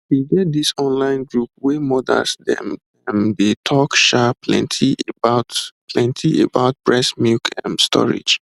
e get this online group wey mothers dem um dey talk um plenty about plenty about breast milk ehm storage